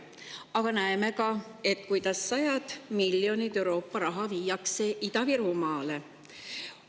Aga näeme ka, kuidas sadades miljonites Euroopa raha viiakse Ida-Virumaale.